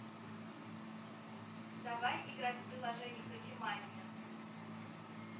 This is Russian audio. давай играть в приложение кофемания